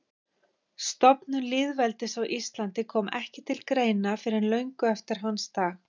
Stofnun lýðveldis á Íslandi kom ekki til greina fyrr en löngu eftir hans dag.